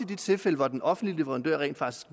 de tilfælde hvor den offentlige leverandør rent faktisk